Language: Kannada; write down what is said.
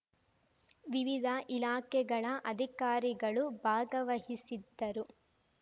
ವಿವಿಧ ಇಲಾಖೆಗಳ ಅಧಿಕಾರಿಗಳು ಭಾಗವಹಿಸಿದ್ದರು